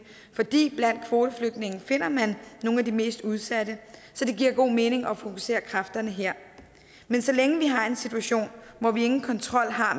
fordi man blandt kvoteflygtningene finder nogle af de mest udsatte så det giver god mening at fokusere kræfterne her men så længe vi har en situation hvor vi ingen kontrol har